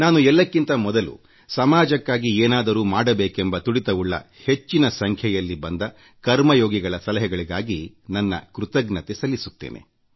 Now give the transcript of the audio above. ನಾನು ಎಲ್ಲಕ್ಕಿಂತ ಮೊದಲು ಸಮಾಜಕ್ಕಾಗಿ ಏನಾದರೂ ಮಾಡಬೇಕೆಂಬ ತುಡಿತವುಳ್ಳ ಹೆಚ್ಚಿನ ಸಂಖ್ಯೆಯಲ್ಲಿ ಬಂದ ಕರ್ಮಯೋಗಿಗಳ ಸಲಹೆಗಳಿಗಾಗಿ ನನ್ನ ಕೃತಜ್ಞತೆ ಸಲ್ಲಿಸುತ್ತೇನೆ